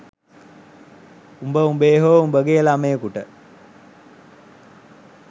උබ උබේ හෝ උබගේ ළමයෙකුට